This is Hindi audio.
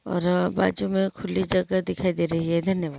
और बाजु मैं खुली जगह दिखाई दे रही है धन्यवाद।